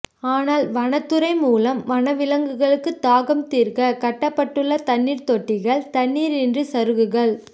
ஆனால் வனத்துறை மூலம் வனவிலங்குகள் தாகம் தீர்க்க கட்டப்பட்டுள்ள தண்ணீர் தொட்டிகள் தண்ணீரின்றி சருகுகள்